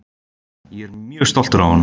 Ég er mjög stoltur af honum.